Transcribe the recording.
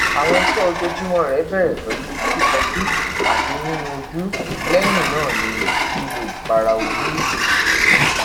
awọn iṣe ojoojumọ rẹ bẹrẹ pẹlu fifọju ati ninu oju lẹyin naa ni lilo ipara oju